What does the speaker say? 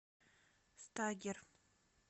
стагер